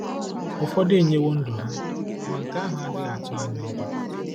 Ụfọdụ enyewo ndụ ha, ma nke ahụ adịghị atụ anyị ụjọ.